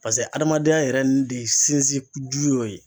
Paseke adamadenya yɛrɛ n de sinsin ju y'o ye